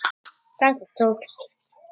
Þetta tókst.